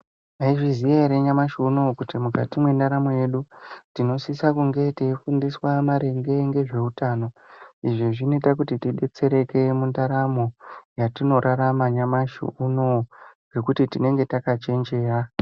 Mwaizviziya ere nyamushiuno kuti mukati mwendaramu yedu tinosisa kunge teifundiswa maringe ngezveutano izvi zvinekakuti tidetsereke mundaramo yatinorarama nyamushiuno ngekuti tinenge takachenjeya.